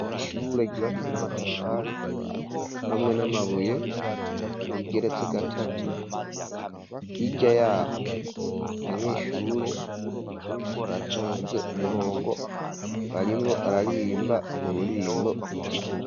Ishure, ryubakishijwe n'amatafari, hamwe n'amabuye, rigeretse gatatu; hirya y'aho, abanyeshure, batonze umurongo, barimwo bararirimba, ururirimbo rw'igihugu.